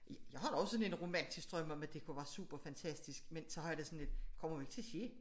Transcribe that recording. Jeg har da også sådan en romantisk drøm om at det kunne være super fantastisk men så har jeg det sådan lidt det kommer jo ikke til at ske